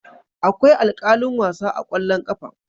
Akwai alkalin wasa a kwallon kafa.